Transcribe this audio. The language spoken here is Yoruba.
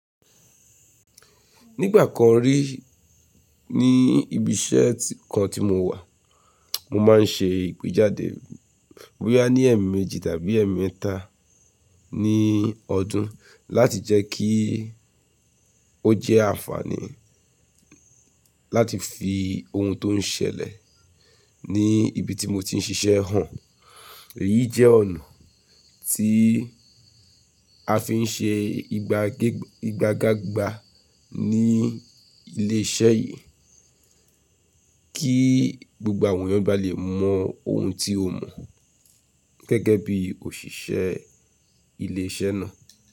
Nígbà kan rí ní ibi iṣẹ́ kan tí mo wà, mo máa ń ṣe ìpèjáde bo ya nì ẹ̀ẹ̀mejì tàbí ẹ̀ẹ̀mẹ́ta ní ọdún láti jẹ́ kí ó jẹ́ àǹfààní láti fi ohun tó ń ṣẹlẹ̀ ní ibi tí mo ti ń ṣiṣẹ́ hàn. Èyí jẹ́ ọ̀nà tí a fi ń ṣe igagágbà ní ilé iṣẹ́ yìí kí gbogbo àwọn èèyàn ba lè mọ oun tí o mọ gẹ́gẹ́ bí òṣìṣẹ́ ilé iṣẹ́ náà.